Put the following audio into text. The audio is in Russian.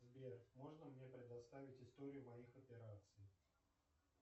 сбер можно мне предоставить историю моих операций